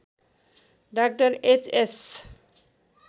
डा H S